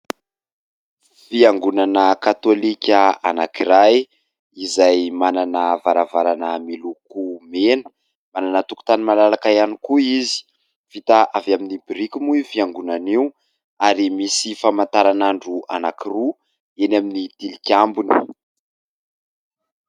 Fiangonana katolika anankiray izay manana varavarana miloko mena. Manana tokontany malalaka ihany koa izy. Vita avy amin'ny biriky moa io fiangonana io ary misy famataran'andro anankiroa eny amin'ny tilikambony.